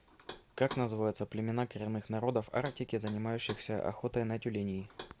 как называются племена коренных народов арктики занимающихся охотой на тюленей